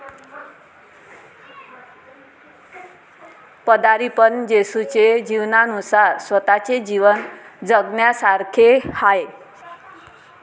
पदारीपण जेसुचे जीवनानूसार स्वताचे जीवन जगण्यासारखेहाय.